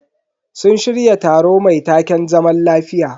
Sun shirya taro mai taken "zaman lafiya".